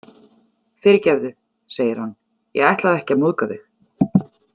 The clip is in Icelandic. Fyrirgefðu, segir hann, ég ætlaði ekki að móðga þig.